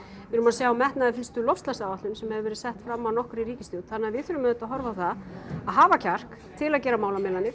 við erum að sjá metnaðarfyllstu loftslagsáætlun sem hefur verið sett fram af nokkurri ríkisstjórn þannig að við þurfum auðvitað að horfa á það að hafa kjark til að gera málamiðlanir